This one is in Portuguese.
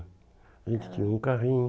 A gente tinha um carrinho.